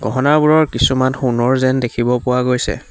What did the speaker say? গহণাবোৰৰ কিছুমান সোণৰ যেন দেখিব পোৱা গৈছে।